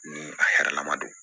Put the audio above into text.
Ni a hɛrɛ la ma don